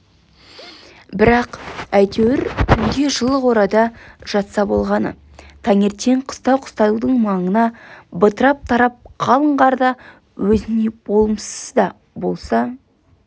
бірақ әйтеуір түнде жылы қорада жатса болғаны таңертең қыстау-қыстаудың маңына бытырап тарап қалың қарда өзіне болымсыз да болса